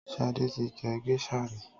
Sade ti jẹ géṣà ri.